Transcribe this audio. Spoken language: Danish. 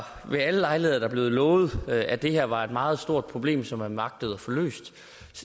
ved alle lejligheder er der blevet lovet at det her var et meget stort problem som man agtede at få løst